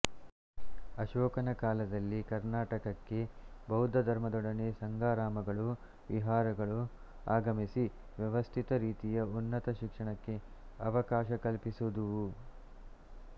ಅಶೋಕನ ಕಾಲದಲ್ಲಿ ಕರ್ನಾಟಕಕ್ಕೆ ಬೌದ್ಧ ಧರ್ಮದೊಡನೆ ಸಂಘಾರಾಮಗಳೂ ವಿಹಾರಗಳೂ ಆಗಮಿಸಿ ವ್ಯವಸ್ಥಿತ ರೀತಿಯ ಉನ್ನತ ಶಿಕ್ಷಣಕ್ಕೆ ಅವಕಾಶ ಕಲ್ಪಿಸಿದುವು